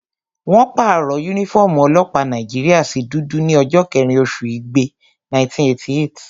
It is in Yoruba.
Wọ́n pàrọ̀ yúnífọ́ọ̀mù ọlọ́pàá Nàìjíríyà sí dúdú ní ọjọ́ kẹ́rin oṣù igbe, 1988